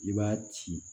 I b'a ci